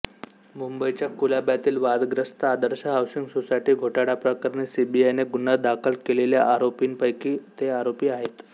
मुंबईच्या कुलाब्यातील वादग्रस्त आदर्श हाऊसिंग सोसायटी घोटाळ्याप्रकरणी सीबीआयने गुन्हा दाखल केलेल्या आरोपींपैकी ते आरोपीं आहेत